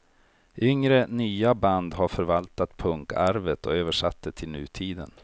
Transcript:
Yngre, nya band har förvaltat punkarvet och översatt det till nutiden.